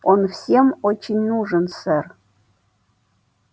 он всем очень нужен сэр